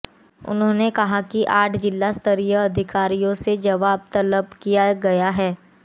उन्होंने कहा कि आठ जिला स्तरीय अधिकारियों से जवाब तलब किया गया है